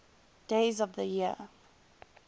days of the year